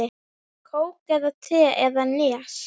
Kók eða te eða Nes?